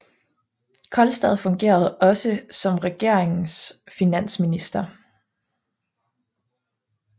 Kolstad fungerede også som regeringens finansminister